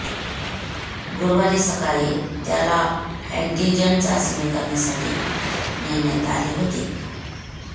गुरुवारी सकाळी त्याला अँटिजन चाचणी करण्यासाठी नेण्यात आले होते